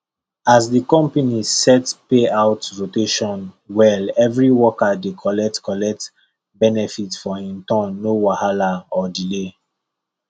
as the company set payout rotation well every worker dey collect collect benefit for him turn no wahala or delay